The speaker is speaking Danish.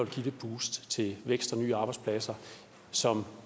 det boost til vækst og nye arbejdspladser som